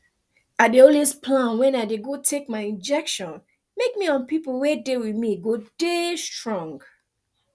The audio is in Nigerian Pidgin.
i dey always plan wen i dey go take my injection make me and pipu wey dey with me go dey strong